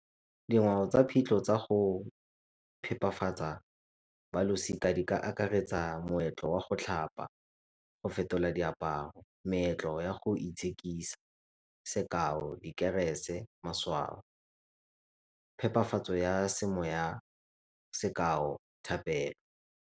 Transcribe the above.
Dingwe tsa phitlho tsa go phepafatsa balosika di ka akaretsa moetlo wa go tlhapa, go fetola diaparo, meetlo ya go itshekisa sekao, dikerese, . Phepafatso ya semoya sekao, thapelo.